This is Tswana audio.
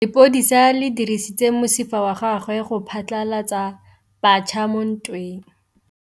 Lepodisa le dirisitse mosifa wa gagwe go phatlalatsa batšha mo ntweng.